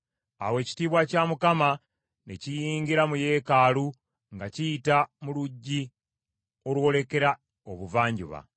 Awo ekitiibwa kya Mukama ne kiyingira mu yeekaalu nga kiyita mu luggi olwolekera Obuvanjuba,